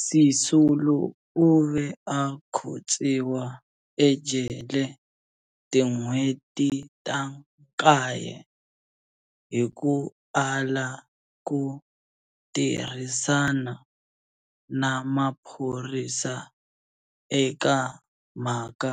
Sisulu u ve a khotsiwa ejele tin'hweti ta nkaye hi ku ala ku tirhisana na maphorisa eka mhaka